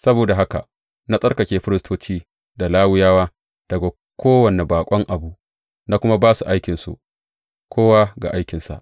Saboda haka na tsarkake firistoci da Lawiyawa daga kowane baƙon abu, na kuma ba su aikinsu, kowa ga aikinsa.